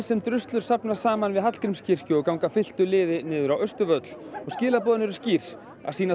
sem druslur safnast saman við Hallgrímskirkju og ganga fylktu liði niður á Austurvöll og skilaboðin eru skýr að sýna